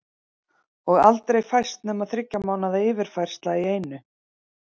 Og aldrei fæst nema þriggja mánaða yfirfærsla í einu.